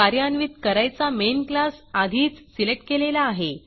कार्यान्वित करायचा मेन classमेन क्लास आधीच सिलेक्ट केलेला आहे